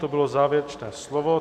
To bylo závěrečné slovo.